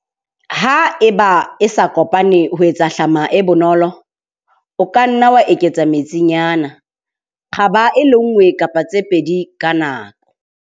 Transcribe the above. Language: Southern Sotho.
Ha eba e sa kopane ho etsa hlama e bonolo, o ka nna wa eketsa metsinyana, kgaba e le nngwe kapa tse pedi ka nako.